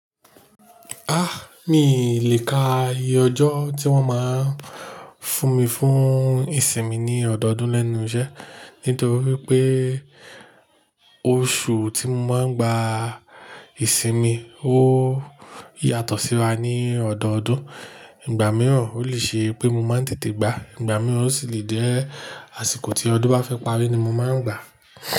Ah! Míi lè ka iye ọjọ́ tí wọ́n máa ń fún mi fún ìsinmi ní ọdọọdún lẹ́nu iṣẹ́ nítorí pé oṣù tí mo máa ń gba ìsinmi ó yàtọ̀ síra ní ọdọọdún. Ìgbà mìíràn ó lè ṣe pé mo máa ń tètè gbà, ìgbà mìíràn ó sì lè jẹ́ àsìkò tí ọdún bá fẹ́ parí ni mo máa ń gbà.